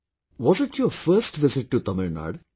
Was it your first visit to Tamil Nadu